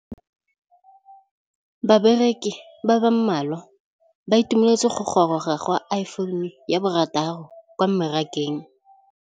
Bareki ba ba malwa ba ituemeletse go gôrôga ga Iphone6 kwa mmarakeng.